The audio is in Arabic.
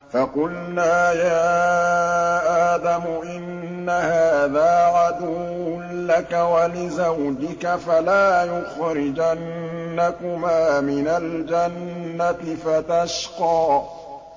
فَقُلْنَا يَا آدَمُ إِنَّ هَٰذَا عَدُوٌّ لَّكَ وَلِزَوْجِكَ فَلَا يُخْرِجَنَّكُمَا مِنَ الْجَنَّةِ فَتَشْقَىٰ